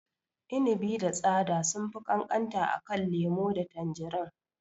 Inibi da tsada sunfi ƙanƙanta akan lemo da tanjirin.